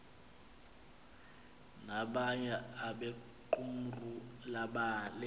nabanye abequmrhu lebandla